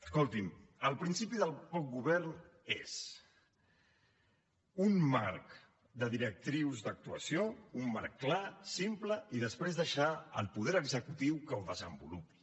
escolti’m el principi del bon govern és un marc de directrius d’actuació un marc clar simple i després deixar al poder executiu que ho desenvolupi